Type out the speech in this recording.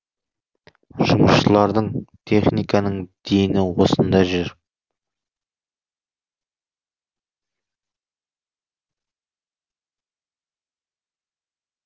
жұмысшылардың техниканың дені осында жүр